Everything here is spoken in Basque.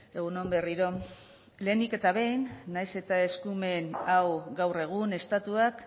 egun on berriro lehenik eta behin nahiz eta eskumen hau gaur egun estatuak